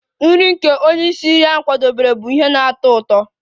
Nri nke onye isi nri kwadebere bụ ihe na-atọ ụtọ